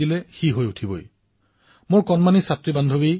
মোৰ কণমানি বিদ্যাৰ্থী মিত্ৰ প্ৰথমে আপোনাৰ পত্ৰখনৰ বাবে ধন্যবাদ